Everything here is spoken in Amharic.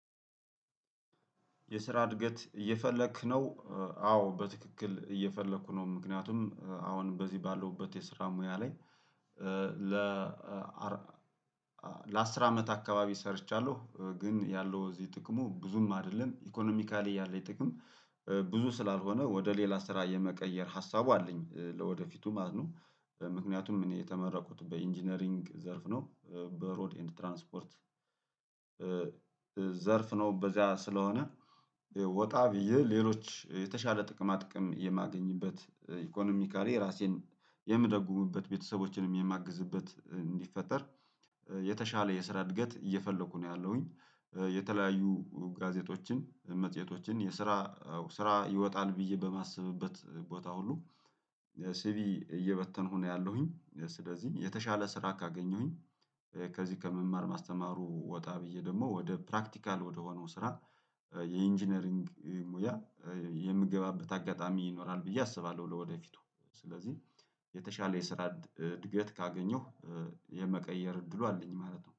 የስራ እድገት እየፈለክ ነው። አዎ በትክክል እየፈለኩ ነው ምክንያቱም አሁን በዚህ ባለውበት የስራ ሙያ ላይ ለ ለአስር አመት አካባቢ ሰርቻለሁ ግን ያለው እዚህ ጥቅሙ ብዙም አይደለም ኢኮኖሚካሊ ያለኝ ጥቅም። ብዙ ስላልሆነ ወደ ሌላ ስራ የመቀየር ሀሳቡ አለኝ ለወደፊቱም አድኖ ምክንያቱም እኔ የተመረኩት በኢንጂነሪንግ ዘርፍ ነው በሮድ ኤንድ ትራንስፖርት። ዘርፍ ነው በዚያ ስለሆነ። ወጣ ብዬ ሌሎች የተሻለ ጥቅማ ጥቅም የማገኝበት ኢኮኖሚካሪ ራሴን የምደግሙበት ቤተሰቦችንም የማግዝበት እንዲፈጠር የተሻለ የስራ እድገት እየፈለኩ ነው ያለሁኝ። የተለያዩ ጋዜጦችን መጽሄቶችን የስራ ስራ ይወጣል ብዬ በማሰብበት ቦታ ሁሉ ሲቪ እየበተንኩ ነው ያለሁኝ። ስለዚህ የተሻለ ስራ ካገኘሁኝ ከዚህ ከመማር ማስተማሩ ወጣ ብዬ ደግሞ ወደ ፕራክቲካል ወደ ሆነው ስራ የኢንጂነሪንግ ሙያ የምገባበት አጋጣሚ ይኖራል ብዬ አስባለሁ። ለወደፊቱ ስለዚህ የተሻለ የስራ እድገት ካገኘሁ የመቀየር እድሉ አለኝ ማለት ነው